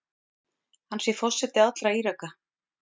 Hann sé forseti allra Íraka.